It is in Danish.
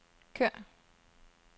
kør